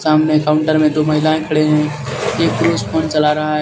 सामने काउंटर मे दो महिलाए खड़ी है एक पुरुष फ़ोन चला रहा है. साम--